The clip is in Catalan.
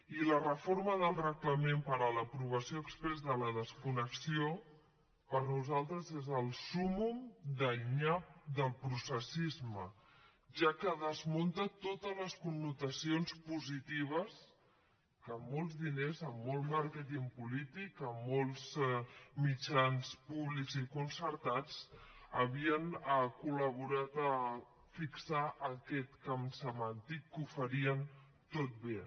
i la reforma del reglament per a l’aprovació exprés de la desconnexió per nosaltres és el súmmum del nyap del processisme ja que desmunta totes les connotacions positives que amb molts diners amb molt màrqueting polític amb molts mitjans públics i concertats havien col·laborat a fixar aquest camp semàntic que ho farien tot bé